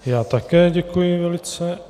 Já také děkuji velice.